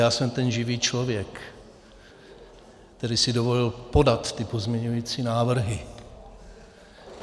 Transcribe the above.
Já jsem ten živý člověk, který si dovolil podat ty pozměňovací návrhy.